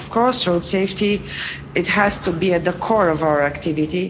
Of course, road safety has to be at the core of our activity.